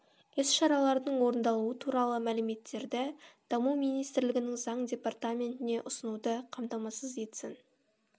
іс-шаралардың орындалуы туралы мәліметтерді даму министрлігінің заң департаментіне ұсынуды қамтамасыз етсін